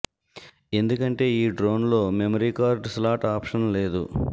ఎందుకంటే ఈ డ్రోన్ లో మెమరీ కార్డ్ స్లాట్ ఆప్షన్ లేదు